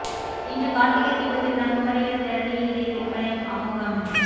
இன்று காா்த்திகை தீபத் திருநாள் குமரியில் தெரளி இலை விற்பனை அமோகம்